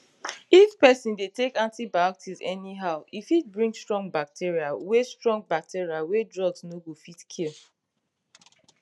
if person dey take antibiotics anyhow e fit bring strong bacteria wey strong bacteria wey drugs no go fit kill